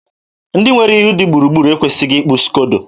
ndị nwere ihu dị gburugburu ekwesịghị ịkpụ skodo.